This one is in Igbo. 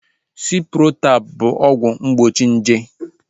Ciprotab bụ ọgwụ mgbochi nje